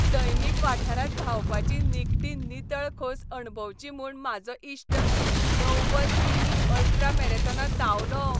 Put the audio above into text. सैमीक वाठारांत धांवपाची निखटी नितळ खोस अणभवची म्हूण म्हाजो इश्ट णव्वद कि. मी. अल्ट्रा मॅरेथॉनांत धांवलो.